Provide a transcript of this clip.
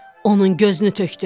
Onun gözünü tökdün.